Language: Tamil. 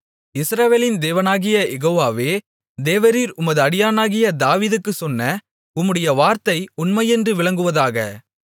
இஸ்ரவேலின் தேவனாகிய யெகோவாவே தேவரீர் உமது அடியானாகிய தாவீதுக்குச் சொன்ன உம்முடைய வார்த்தை உண்மையென்று விளங்குவதாக